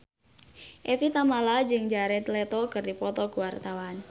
Evie Tamala jeung Jared Leto keur dipoto ku wartawan